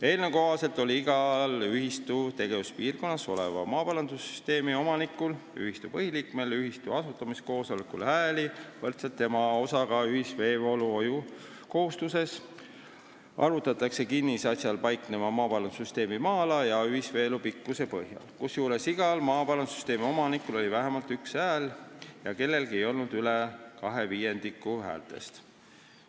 Eelnõu kohaselt oli igal ühistu tegevuspiirkonnas oleva maaparandussüsteemi omanikul ühistu asutamiskoosolekul hääli võrdeliselt tema osaga ühiseesvoolu hoiu kohustuses , kusjuures igal maaparandussüsteemi omanikul oli vähemalt üks hääl ja kellelgi ei olnud üle kahe viiendiku häältest.